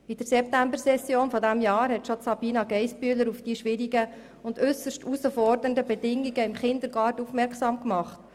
In der Septembersession hat Sabina Geissbühler bereits auf die äusserst herausfordernden Bedingungen im Kindergarten aufmerksam gemacht.